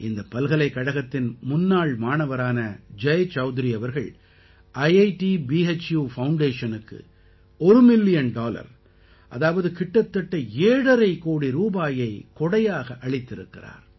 இந்தப் பல்கலைக்கழகத்தின் முன்னாள் மாணவரான ஜய் சௌத்ரி அவர்கள் ஐட் பூ FOUNDATIONக்கு ஒரு மில்லியன் டாலர் அதாவது கிட்டத்தட்ட 7 12 கோடி ரூபாயை கொடையாக அளித்திருக்கிறார்